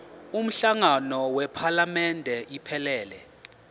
umhlangano wephalamende iphelele